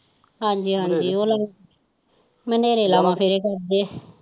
ਹਾਜੀ ਹਾਜੀ ਉਹਨਾਂ ਲਾਵਾ ਫੇਰੇ ਕਰਦੇ।